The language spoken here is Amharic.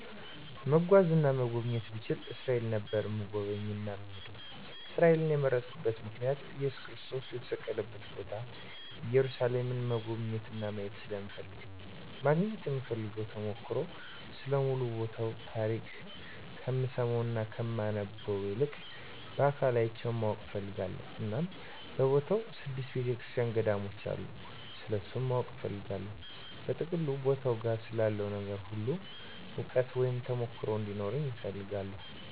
መጓዝ እና መጎብኘት ብችል እስራኤል ነበር እምጎበኝ እና እምሄደዉ። እስራኤልን የመረጥኩበት ምክንያት እየሱስ ክርስቶስ የተሰቀለበትን ቦታ ኢየሩሳሌምን መጎብኘት እና ማየት ስለምፈልግ ነዉ። ማግኘት እምፈልገዉ ተሞክሮ ስለ ሙሉ ቦታዉ ታሪክ ከምሰማዉ እና ከማነበዉ ይልቅ በአካል አይቸዉ ማወቅ እፈልጋለሁ እና በቦታዉ ስድስት ቤተክርሰቲያኖች ገዳሞች አሉ ስለነሱም ማወቅ እፈልጋለሁ። በጥቅሉ ቦታዉ ጋ ስላለዉ ነገር ሁሉ እዉቀት (ተሞክሮ ) እንዲኖረኝ እፈልጋለሁ።